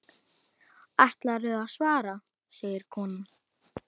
Ætlarðu að svara, segir konan.